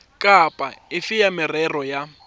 kapa efe ya merero ya